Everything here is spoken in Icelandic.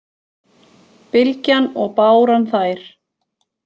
Bylgjan og báran þær